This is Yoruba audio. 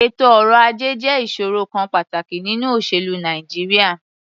Ètò ọrọ̀-ajẹ́ jẹ́ ìṣòrò kan pàtàkì nínú òṣèlú Nàìjíríà.